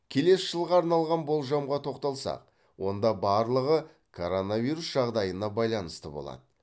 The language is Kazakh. келесі жылға арналған болжамға тоқталсақ онда барлығы коронавирус жағдайына байланысты болады